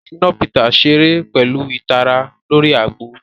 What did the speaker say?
Shina Peters ṣere pẹlu itara lori agbo.